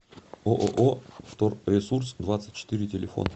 ооо вторресурс двадцать четыре телефон